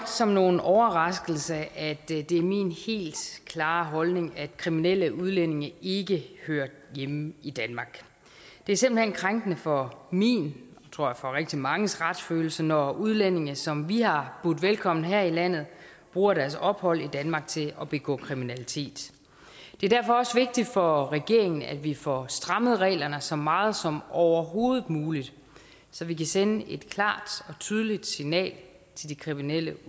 som nogen overraskelse at det er min helt klare holdning at kriminelle udlændinge ikke hører hjemme i danmark det er simpelt hen krænkende for min og tror jeg rigtig manges retsfølelse når udlændinge som vi har budt velkommen her i landet bruger deres ophold i danmark til at begå kriminalitet det er derfor også vigtigt for regeringen at vi får strammet reglerne så meget som overhovedet muligt så vi kan sende et klart og tydeligt signal til de kriminelle